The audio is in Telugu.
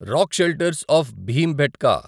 rock shelters of Bhimbetka